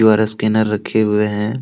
और स्कैनर रखे हुए हैं।